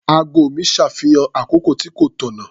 Ago mi ṣàfihàn àkókò tí kò tànnà.